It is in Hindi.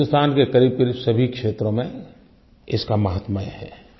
लेकिन हिन्दुस्तान के क़रीबक़रीब सभी क्षत्रों में इसका महात्म्यं है